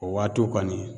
O waatiw kɔni